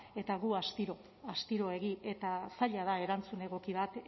eta gu astiro astiroegi eta zaila da erantzun egoki bat